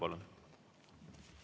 Palun!